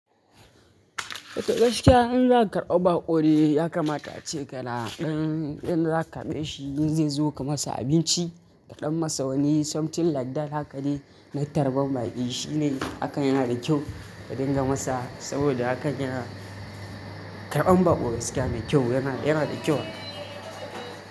Gaskiya in za ka karɓi baƙo ya kamata ce ka na ɗan, in za ka karɓeshi in zai zo ka masa abinci, ka ɗan masa wani something like that haka dai na tarban baƙi, shi ne hakan yana da kyau ka dinga masa saboda hakan yana karɓan baƙo gaskiya mai kyau yana, yana da kyau.